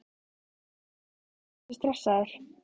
Erla: Ertu stressaður?